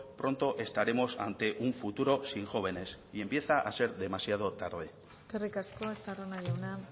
pronto estaremos ante un futuro sin jóvenes y empieza a ser demasiado tarde eskerrik asko estarrona jauna